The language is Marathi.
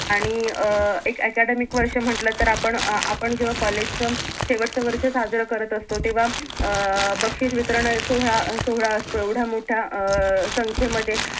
आणि अं एक academic वर्ष म्हटलं तर आपण अं आपण जेव्हा कॉलेज च शेवटचं वरच साजर करत असतो तेव्हा अं बक्षिस वितरण सोहळा अं सोहळा असतो एवढा मोठा अं संख्येमध्ये